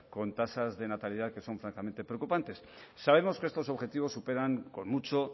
con tasas de natalidad que son francamente preocupantes sabemos que estos objetivos superan con mucho